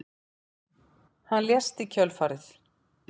Hann lést í kjölfarið